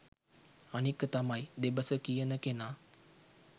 අනික තමයි දෙබස කියන කෙනා